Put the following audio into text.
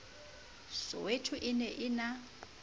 soweto e ne e na